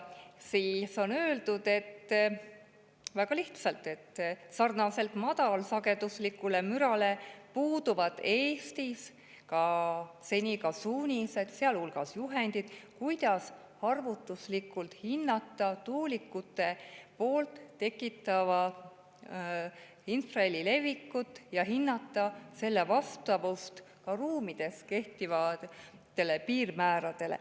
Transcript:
Siin on öeldud väga lihtsalt, et samamoodi nagu madalsagedusliku müra kohta puuduvad Eestis seni suunised, sealhulgas juhendid, kuidas arvutuslikult hinnata tuulikute tekitatava infraheli levikut ja hinnata selle vastavust ruumides kehtivatele piirmääradele.